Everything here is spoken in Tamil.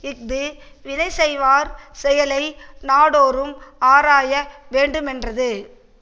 இது வினை செய்வார் செயலை நாடோறும் ஆராய வேண்டுமென்றது